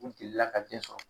U delila ka den sɔrɔ.